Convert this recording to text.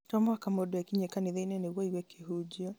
to mũhaka mũndũ ekinyie kanithainĩ nĩguo aigue kĩhunjio